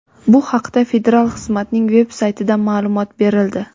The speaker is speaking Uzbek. Bu haqda federal xizmatning veb-saytida ma’lumot berildi.